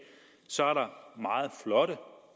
så er der meget flotte